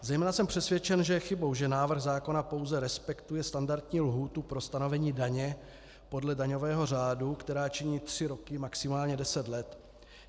Zejména jsem přesvědčen, že je chybou, že návrh zákona pouze respektuje standardní lhůtu pro stanovení daně podle daňového řádu, která činí tři roky, maximálně deset let.